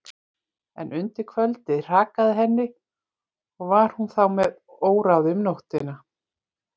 En undir kvöldið hrakaði henni og var hún þá með óráði um nóttina.